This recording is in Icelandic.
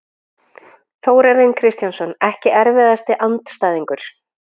Þórarinn Kristjánsson Ekki erfiðasti andstæðingur?